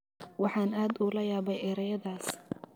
Waxaan aad ula yaabay erayadaas.